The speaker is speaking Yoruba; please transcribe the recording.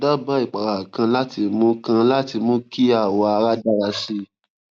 daba ipara kan láti mú kan láti mú kí awọ ara dára sí i